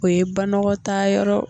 O ye banɔgɔtaa yɔrɔ.